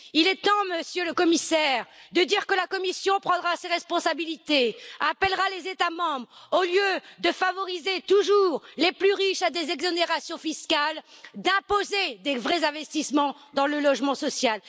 Il est temps, Monsieur le Commissaire, de dire que la Commission prendra ses responsabilités et appellera les États membres, au lieu de favoriser toujours les plus riches à des exonérations fiscales, à imposer de vrais investissements dans le logement social.